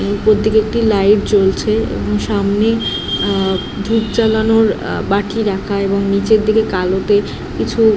উপর দিকে একটি লাইট জলছে এবং সামনে আ ধুপ জলানোর আ বাটি রাখা এবং নিচের দিকে কিছু --